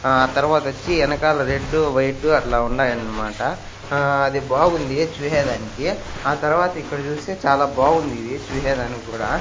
ఆ తరవాతొచ్చి ఎనకాల రెడ్డు వైటు అట్లా ఉండాయన్మాట ఆ అది బాగుంది చూసేదానికి ఆ తరవాత ఇక్కడ చూస్తే చాలా బాగుంది ఇది చూసేదానికి కూడా.